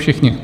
Všichni?